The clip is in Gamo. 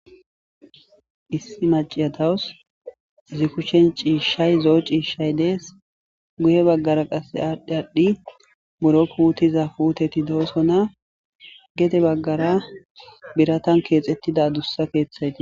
Issi macciya dawus izi kushen ciiahshay zo7o ciishshay dees. izi guye baggara qasse aadhdhi aadhdhi puuutiza puuteti doosona.gede baggara biratan keexettida gita keethey dees.